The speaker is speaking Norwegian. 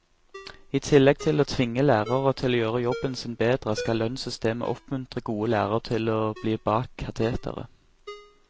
I tillegg til å tvinge lærere til å gjøre jobben sin bedre, skal lønnssystemet oppmuntre gode lærere til å bli bak kateteret.